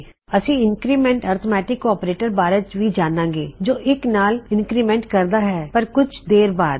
ਅਸੀਂ increment arithmetic operator ਬਾਰੇ ਵੀ ਜਾਨਾਂਗੇ ਜੋ 1 ਨਾਲ ਇੰਨਕਰਿਮੈਂਨਟ ਕਰਦਾ ਹੈਪਰ ਕੁਝ ਦੇਰ ਬਾਦ